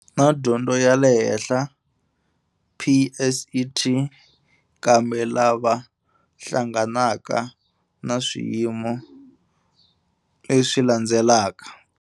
Na Dyondzo ya le Henhla, PSET, kambe lava hlanganaka na swiyimo leswi landzelaka.